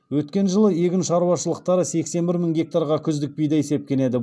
өткен жылы егін шаруашылықтары сексен бір мың гектарға күздік бидай сепкен еді